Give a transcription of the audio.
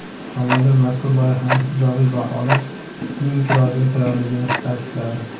Tomonlar mazkur loyihani ijobiy baholab, uning ijrosiga tayyorligini ta’kidladi.